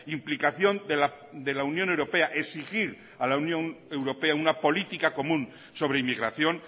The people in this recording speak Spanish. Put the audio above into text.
implicación de la unión europea exigir a la unión europea una política común sobre inmigración